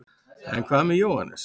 en hvað með jóhannes